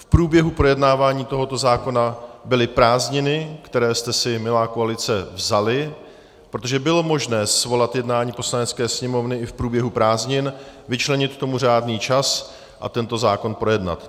V průběhu projednávání tohoto zákona byly prázdniny, které jste si, milá koalice, vzali, protože bylo možné svolat jednání Poslanecké sněmovny i v průběhu prázdnin, vyčlenit tomu řádný čas a tento zákon projednat.